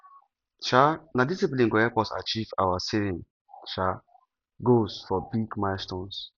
um na discipline go help us achieve our saving um goals for big milestones